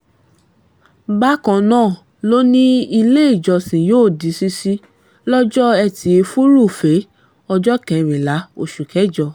bákan náà ló ní iléèjọsìn yóò di ṣíṣí lọ́jọ́ etí furuufee ọjọ́ kẹrìnlá oṣù kẹjọ